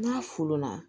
N'a folo na